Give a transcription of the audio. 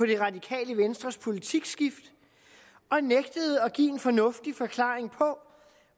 det radikale venstres politikskift og nægtede at give en fornuftig forklaring på